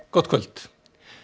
gott kvöld